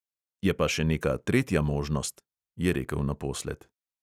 "Je pa še neka tretja možnost," je rekel naposled.